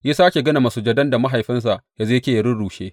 Ya sāke gina masujadan da mahaifinsa Hezekiya ya rurrushe.